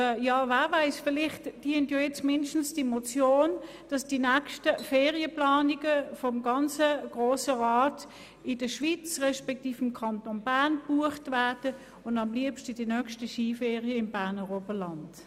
Und wer weiss, vielleicht dient diese Motion mindestens dazu, dass die nächsten Ferien des gesamten Grossen Rats in der Schweiz, respektive im Kanton Bern gebucht werden, und am liebsten die nächsten Skiferien im Berner Oberland.